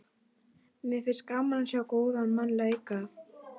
Mér finnst gaman að sjá góðan mann leika.